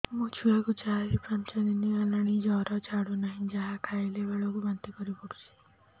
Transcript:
ମୋ ଛୁଆ କୁ ଚାର ପାଞ୍ଚ ଦିନ ହେଲା ଜର ଛାଡୁ ନାହିଁ ଯାହା ଖାଇଲା ବେଳକୁ ବାନ୍ତି କରି ପକଉଛି